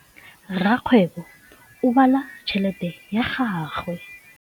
Rakgwêbô o bala tšheletê ya gagwe.